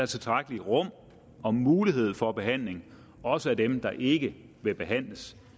tilstrækkeligt rum og mulighed for behandling også af dem der ikke vil behandles